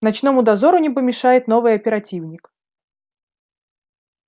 ночному дозору не помешает новый оперативник